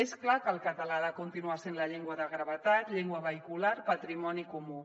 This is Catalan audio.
és clar que el català ha de continuar sent la llengua de gravetat llengua vehicular patrimoni comú